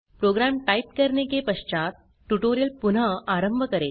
programme type करने के पश्चात ट्यूटोरियल पुनः आरंभ करें